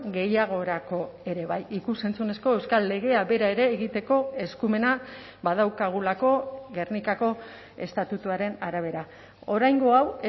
gehiagorako ere bai ikus entzunezko euskal legea bera ere egiteko eskumena badaukagulako gernikako estatutuaren arabera oraingo hau